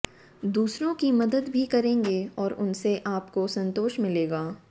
दूसरों की मदद भी करेंगे और उनसे आपको संतोष मिलेगा